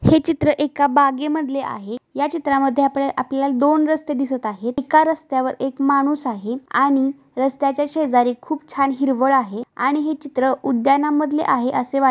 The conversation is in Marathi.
हे चित्र एका बागे मधले आहे. या चित्र मध्ये आपल्याला ला दोन रस्ते दिसत आहेत. एका रस्त्यावर एक माणूस आहे आणि रस्त्याच्या शेजारी खूप छान हिरवळ आहे आणि हे चित्र उद्याना मधले आहे असे वाट--